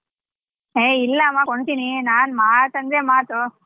ಏ ಇಲ್ಲವ ಕೊಂಡ್ತಿನಿ ನಾನ್ ಮಾತ್ ಅಂದ್ರೆ ಮಾತು.